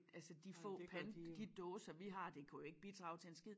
Altså de få pant de dåser vi har det kunne jo ikke bidrage til en skid